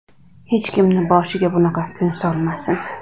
Hech kimni boshiga bunaqa kun solmasin.